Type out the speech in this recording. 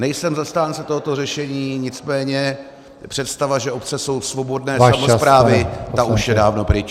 Nejsem zastánce tohoto řešení, nicméně představa, že obce jsou svobodné samosprávy, ta už je dávno pryč.